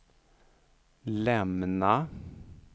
lämna